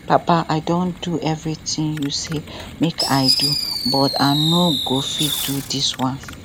papa i don do everything you say make i do but i no go fit do dis one